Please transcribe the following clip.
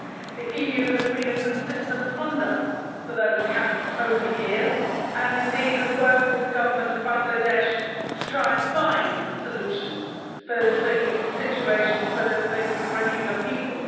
The EU has been a consistent funder for those camps over the years and indeed has worked with the Government of Bangladesh to try to find solutions for the situation of the Rohingya people.